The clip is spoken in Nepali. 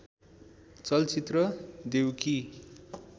चलचित्र देउकी